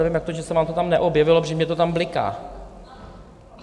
Nevím, jak to, že se vám to tam neobjevilo, protože mně to tam bliká.